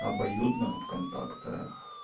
обоюдно в контактах